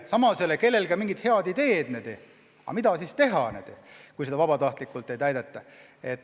Samas ei ole kellelgi ka mingit head ideed, mida ikkagi teha, kui seda vabatahtlikult ei täideta.